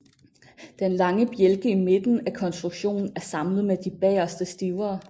Den lange bjælke i midten af konstruktionen er samlet med de bageste stivere